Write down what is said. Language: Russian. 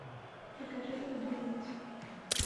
покажи продавец